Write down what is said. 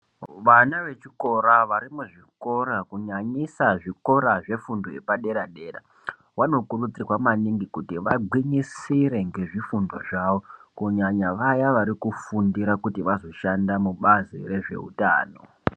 Vana vechikora varimuzvikora kunyanyisa zvikoro zvefundo yepadera vanokurudzirwa maningi kuti vagwinyisire ngezvifundo zvavo. Kunyanya vaya varikufundira kuti vazoshanda mubazi rezveutano.